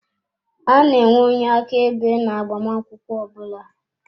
A na-enwe onye aka ebe na agbamakwụkwọ ọbula.